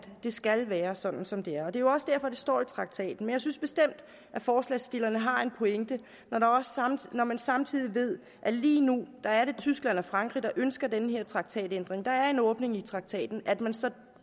det skal være sådan som det er og det er jo også derfor det står i traktaten men jeg synes bestemt at forslagsstillerne har en pointe når man samtidig ved at det lige nu er tyskland og frankrig der ønsker en traktatændring der er en åbning i traktaten og at man så